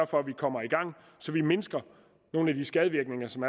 for at vi kommer i gang så vi mindsker nogle af de skadevirkninger som